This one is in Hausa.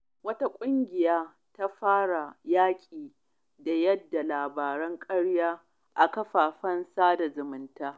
Wata ƙungiya ta fara yaƙi da yada labaran ƙarya a shafukan sada zumunta.